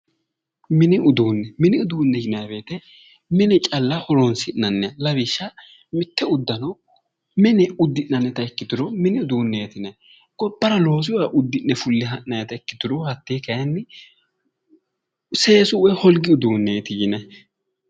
Mini uduunni mini uduunni yianayi woyiite mine calla horonsi'nanniha lawishshaho, mitte uddano mine uddi'nannita ikkituro mini uduunneeti yinayi, gobbara loosuyiiwa uddi'ne fule ha'nayiita ikkituro hattee kaayiinni seesu woyi holgi udiinneeti yinayi.